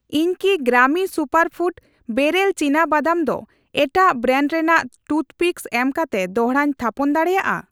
ᱤᱧ ᱠᱤ Grami superfood barrel ᱪᱤᱱᱟ ᱵᱟᱫᱟᱢ ᱫᱚ ᱮᱴᱟᱜ ᱵᱨᱮᱱᱰ ᱨᱮᱱᱟᱜ ᱴᱩᱛᱷᱯᱤᱠᱥ ᱮᱢᱠᱟᱛᱮ ᱫᱚᱲᱦᱟᱧ ᱛᱷᱟᱯᱚᱱ ᱫᱟᱲᱮᱭᱟᱜᱼᱟ?